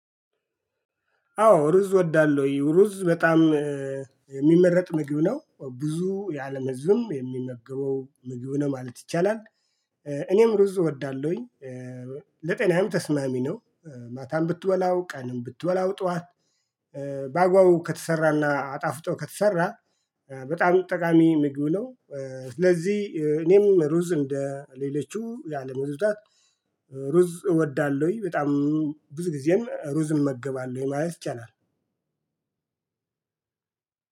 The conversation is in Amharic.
አዎ ሩዝ ወዳለው ዩሩዝ በጣም የሚመረጥ ምግብ ነው ብዙ ያለም ህዝብም የሚመገበው ምግቡ ነው ማለት ይቻላል። እኔም ሩዝ እወዳለሁኝ። ለጤናም ተስማሚ ነው። ማታም ብትወላው ቀንም ብትወላው ጠዋት። በአግባቡ ከተሰራና አጣፍጦ ከተሰራ በጣም ጠቃሚ ምግብነው። ስለዚህ እኔም ሩዝ እንደ ሌሎችም ያለ ምዕራፍ። ሩዝ እወዳለሁ ወይ? በጣም ብዙ ጊዜም ሩዝ እመገባለሁ ማለት ቻናል